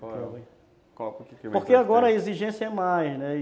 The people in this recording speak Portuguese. Qual é o... Porque agora a exigência é mais, né?